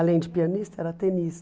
Além de pianista, era tenista.